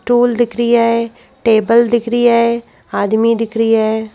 Stool दिख रिया है टेबल दिख रिया है आदमी दिख रिया है।